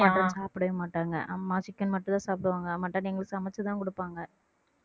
mutton சாப்பிடவே மாட்டாங்க அம்மா chicken மட்டும்தான் சாப்பிடுவாங்க mutton எங்களுக்கு சமைச்சுதான் கொடுப்பாங்க